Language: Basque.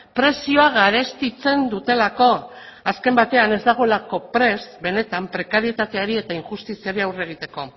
prezioa garestitzen dutelako azken batean ez dagoelako prest benetan prekarietateari eta injustiziari aurre egiteko